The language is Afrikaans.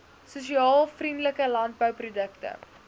sosiaal vriendelike landbouprodukte